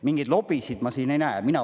Mingeid lobisid ma siin ei näe.